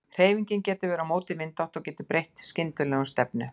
Hreyfingin getur verið á móti vindátt og getur breytt skyndilega um stefnu.